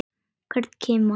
Hvern kima.